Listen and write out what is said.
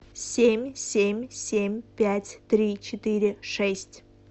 семь семь семь пять три четыре шесть